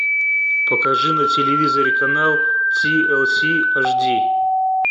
покажи на телевизоре канал ти эл си аш ди